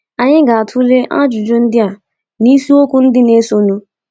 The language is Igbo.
Anyị ga-atụle ajụjụ ndị a n’isiokwu ndị na-esonụ.